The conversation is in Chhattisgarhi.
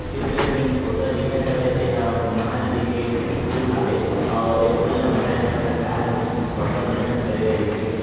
चित्र मै जैन फोटो हा दिखत है बे तेहा महानदी के पुल हावे और ए पुल ला बना बर सरकार हा अबड़ मेहनत करे रहीस हे।